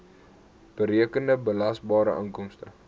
berekende belasbare inkomste